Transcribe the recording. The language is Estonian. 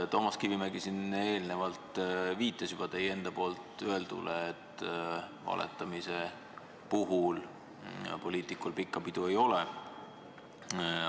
Toomas Kivimägi eelnevalt juba viitas teie enda sõnadele, et valetamise puhul poliitikul pikka pidu ei ole.